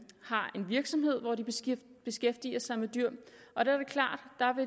virksomhed hvor de beskæftiger sig med dyr